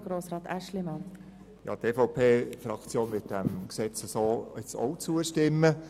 Die EVP-Fraktion wird diesem so bereinigten Gesetz ebenfalls zustimmen.